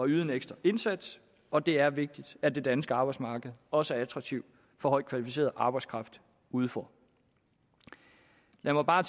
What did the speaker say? yde en ekstra indsats og det er vigtigt at det danske arbejdsmarked også er attraktivt for højt kvalificeret arbejdskraft udefra lad mig bare